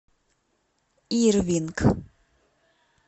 ирвинг